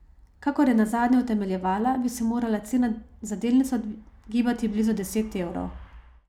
Kakor je nazadnje utemeljevala, bi se morala cena za delnico gibati blizu deset evrov.